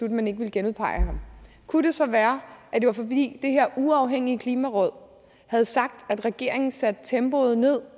at man ikke ville genudpege ham kunne det så være at det var fordi det her uafhængige klimaråd havde sagt at regeringen satte tempoet ned